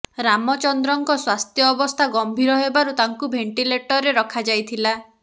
ରାମଚନ୍ଦ୍ରଙ୍କ ସ୍ୱାସ୍ଥ୍ୟ ଅବସ୍ଥା ଗମ୍ଭୀର ହେବାରୁ ତାଙ୍କୁ ଭେଣ୍ଟିଲେଟରରେ ରଖାଯାଇଥିଲା